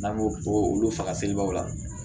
N'an ko olu faga selibaw la